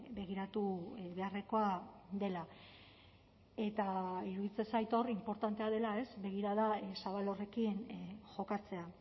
begiratu beharrekoa dela eta iruditzen zait hor inportantea dela begirada zabal horrekin jokatzea